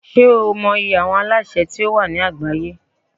Ṣé o mọ iye àwọn alásè tí ó wà ní àgbáyé?